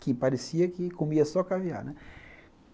Que parecia que comia só caviar, né?